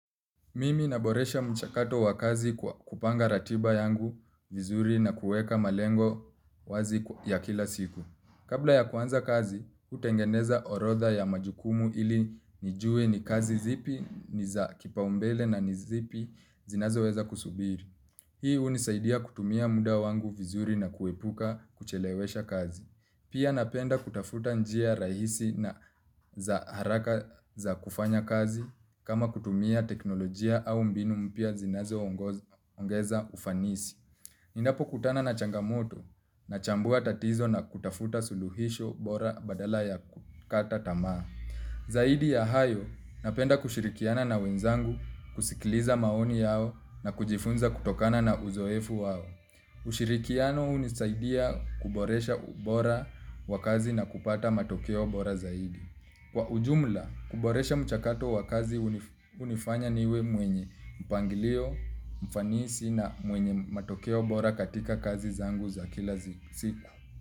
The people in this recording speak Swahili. Mimi naboresha mchakato wa kazi kwa kupanga ratiba yangu vizuri na kueka malengo wazi ya kila siku. Kabla ya kuanza kazi, hutengeneza orodha ya majukumu ili nijue ni kazi zipi, niza kipaumbele na ni zipi zinazo weza kusubiri. Hii hunisaidia kutumia muda wangu vizuri na kuepuka kuchelewesha kazi. Pia napenda kutafuta njia rahisi na za haraka za kufanya kazi kama kutumia teknolojia au mbinu mpya zinazo ongeza ufanisi. Ninapo kutana na changamoto na chambua tatizo na kutafuta suluhisho bora badala ya kukata tamaa. Zaidi ya hayo napenda kushirikiana na wenzangu kusikiliza maoni yao na kujifunza kutokana na uzoefu wao. Ushirikiano hunisaidia kuboresha ubora wa kazi na kupata matokeo bora zaidi. Kwa ujumla, kuboresha mchakato wa kazi hunifanya niwe mwenye mpangilio, mfanisi na mwenye matokeo bora katika kazi zangu za kila siku.